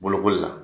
Bolokoli la